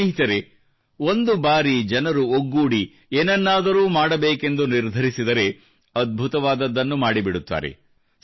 ಸ್ನೇಹಿತರೆ ಒಂದು ಬಾರಿ ಜನರು ಒಗ್ಗೂಡಿ ಏನನ್ನದರೂ ಮಾಡಬೇಕೆಂದು ನಿರ್ಧರಿಸಿದರೆ ಅದ್ಭುತವಾದುದನ್ನು ಮಾಡಿಬಿಡುತ್ತಾರೆ